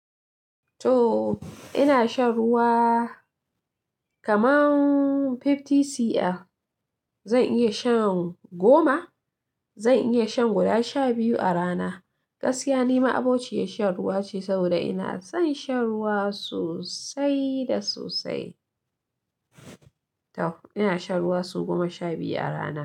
To ina shan ruwa kaman fifty cl, zan iya shan goma, zan iya shan guda sha biyu a rana. Gaskiya ni ma'aboci ya shan ruwa ce saboda ina son shan ruwa sosai da sosai. To ina shan ruwa sau goma sha biyu a rana.